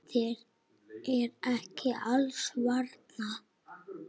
Þér er ekki alls varnað.